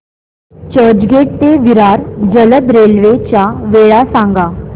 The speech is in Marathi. चर्चगेट ते विरार जलद रेल्वे च्या वेळा सांगा